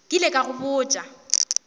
ke ile ka go botša